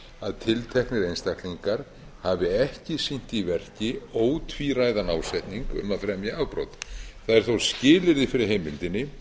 að tilteknir einstaklingar hafi ekki sýnt í verki ótvíræðan ásetning um að fremja afbrot það er þó skilyrði fyrir heimildinni